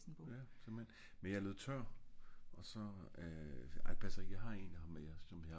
Ja simpelthen men jeg er løbet tør